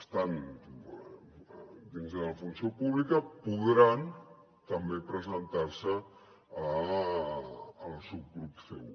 estant dins de la funció pública podran també presentar se al subgrup c1